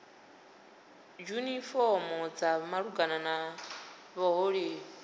dzifomo dza malugana na vhuhole